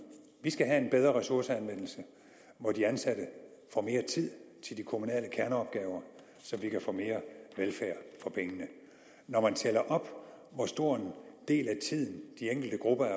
vi skal have en bedre ressourceanvendelse hvor de ansatte får mere tid til de kommunale kerneopgaver så vi kan få mere velfærd for pengene når man tæller op hvor stor en del af tiden de enkelte grupper af